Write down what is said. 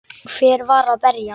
Hver var að berja?